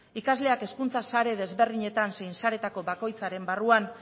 ikasleak hezkuntza sare desberdinetan zein saretako bakoitzaren barruan